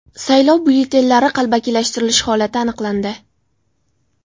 Saylov byulletenlari qalbakilashtirilishi holati aniqlandi.